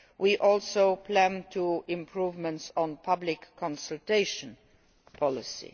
We also plan improvements on public consultation policy.